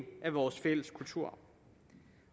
af vores fælles kulturarv